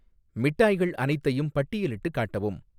மிட்டாய்கள் அனைத்தையும் பட்டியலிட்டுக் காட்டவும்